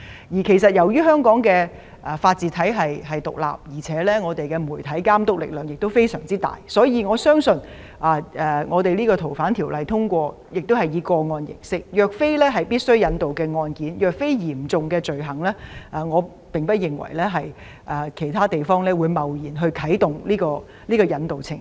由於香港的法治體系獨立，媒體監督力量亦相當大，所以，我相信修例建議如獲得通過，這項安排便會以個案形式處理，若非一些必須引渡的案件或嚴重罪行，我不認為其他地方會貿然啟動引渡程序。